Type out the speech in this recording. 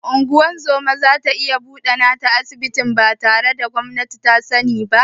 Shin ungozoma zata iya buɗe nata asibitin batare da sanin gwamnati ba?